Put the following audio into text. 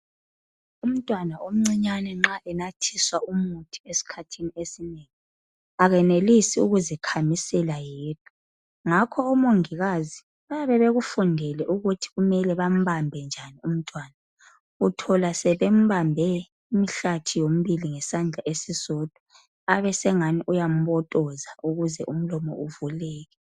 Umntwana omncinyane nxa enathiswa umuthi esikhathini esinengi akenelisi ukuzikhamisela yedwa, ngakho omongikazi bayabe bekufundele ukuthi kumele bambambe njani umntwana, uthola sebembambe imihlathi yomibili ngesandla esisodwa abe sengani uyambotoza ukuze umlomo uvuleke.